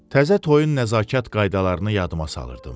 Təzə toyun nəzakət qaydalarını yadıma salırdım.